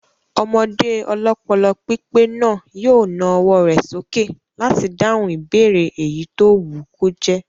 Ọmọdé ọlọ́pọlọpípé náà yóò na ọwọ́ rẹ̀ sókè láti dáhùn ìbéèrè èyí tó wù kó jẹ́